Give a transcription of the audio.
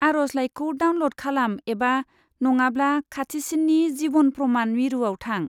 आरजलाइखौ डाउनल'ड खालाम एबा नङाब्ला खाथिसिननि जिभन प्रमान मिरुआव थां।